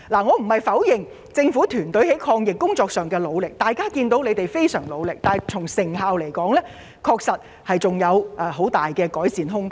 我並非要否定政府團隊在抗疫工作上的努力，他們無疑非常努力，但成效卻仍有很大改善空間。